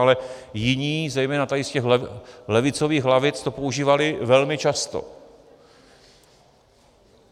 Ale jiní, zejména tady z těch levicových lavic, to používali velmi často.